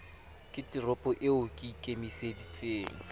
ke toro eo ke ikemiseditseng